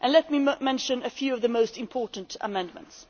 Let me mention a few of the most important amendments.